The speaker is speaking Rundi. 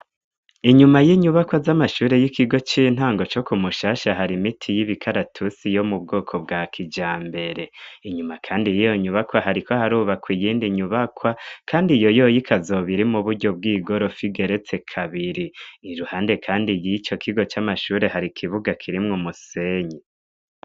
Inyuma y'inyubakwa z'amashure y'ikigo c'intango co ku mushasha hari miti y'ibikaratusi yo mu bwoko bwa kijambere. Inyuma kandi yiyo nyubakwa hariko harubakwa iyindi nyubakwa, kandi iyo yoyo ikazoba iri mu buryo bw'igorofa igeretse kabiri. Iruhande kandi yiyo kigo c'amashure hari ikibuga kirimwo umusenyi.